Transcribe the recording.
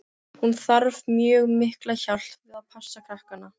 Hún þarf mjög mikla hjálp við að passa krakkana.